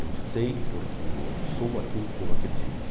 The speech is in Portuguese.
Eu sei porque eu sou aquilo que eu acredito.